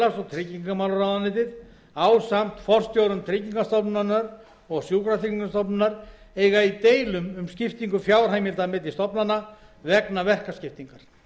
tryggingamálaráðuneyti ásamt forstjórum tryggingastofnunar og sjúkratryggingastofnunar eiga í deilum um skiptingu fjárheimilda milli stofnananna vegna verkaskiptingar